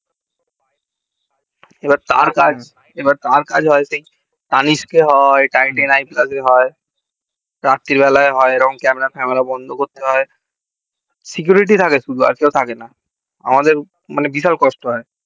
এবার তার কাজ tanisque এ হয় tighten i plus এ হয় রাত্রি বেলায় হয় এরম সময় camera বন্ধ করতে হয় security থাকে শুধু আর কেউ থাকেনা আমাদের মানে বিশাল কষ্ট হয়